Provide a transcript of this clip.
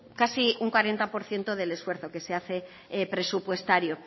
casi un cuarenta por ciento del esfuerzo que se hace presupuestario